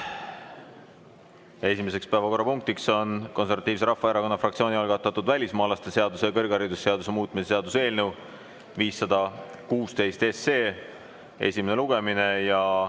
Esimene päevakorrapunkt on Konservatiivse Rahvaerakonna fraktsiooni algatatud välismaalaste seaduse ja kõrgharidusseaduse muutmise seaduse eelnõu 516 esimene lugemine.